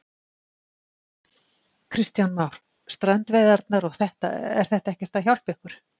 Kristján Már: Strandveiðarnar og þetta, er þetta ekkert að hjálpa ykkur?